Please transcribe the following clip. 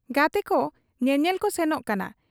ᱜᱟᱛᱮᱠᱚ ᱧᱮᱧᱮᱞᱠᱚ ᱥᱮᱱᱚᱜ ᱠᱟᱱᱟ ᱾